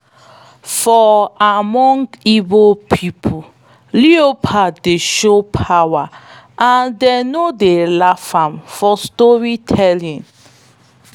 for among igbo people leopard dey show power and them no dey laugh am for storytime.